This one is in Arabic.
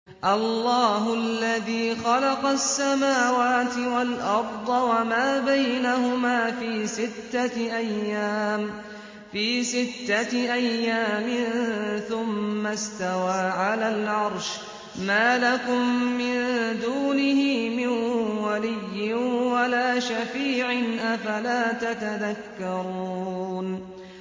اللَّهُ الَّذِي خَلَقَ السَّمَاوَاتِ وَالْأَرْضَ وَمَا بَيْنَهُمَا فِي سِتَّةِ أَيَّامٍ ثُمَّ اسْتَوَىٰ عَلَى الْعَرْشِ ۖ مَا لَكُم مِّن دُونِهِ مِن وَلِيٍّ وَلَا شَفِيعٍ ۚ أَفَلَا تَتَذَكَّرُونَ